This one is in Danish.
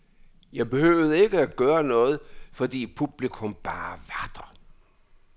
Jeg behøvede ikke at gøre noget, fordi publikum bare var der.